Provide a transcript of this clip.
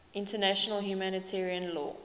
international humanitarian law